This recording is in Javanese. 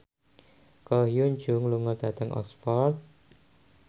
Ko Hyun Jung lunga dhateng Oxford